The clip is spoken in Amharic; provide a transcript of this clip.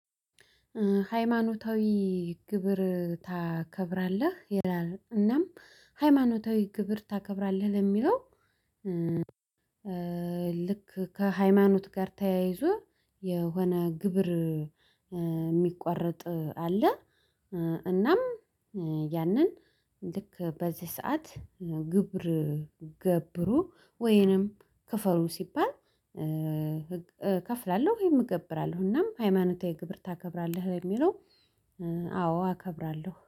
ሃይማኖታዊ ግብር ታከብራለህ ይላል እናም ሃይማኖታዊ ግብር ታከብራለህ ለሚለው። ልክ ከሃይማኖት ጋር ተያይዞ የሆነ ግብር እሚቋረጥ አለ። እናም ያንን ልክ በዚህ ሰዓት። ግብር ገብሩ ወይንም ክፍሉ ሲባል እከፍላለሁ ወይም እገብራለሁ እናም ሃይማኖታዊ ግብር ታከብራለህ ለሚለው። አዎ አከብራለሁ